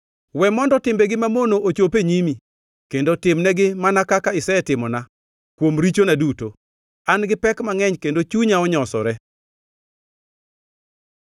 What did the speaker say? We mondo timbegi mamono ochop e nyimi; kendo timnegi, mana kaka isetimona kuom richona duto. An gi pek mangʼeny kendo chunya onyosore.